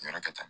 Yɔrɔ ka ca